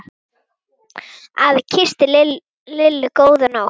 Afi kyssti Lillu góða nótt.